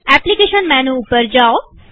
application menu ઉપર જાઓ